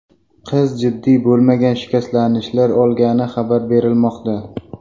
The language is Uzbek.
Qiz jiddiy bo‘lmagan shikastlanishlar olgani xabar berilmoqda.